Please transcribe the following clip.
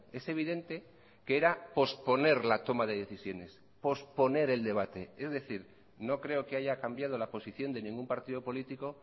es evidente que era posponer la toma de decisiones posponer el debate es decir no creo que haya cambiado la posición de ningún partido político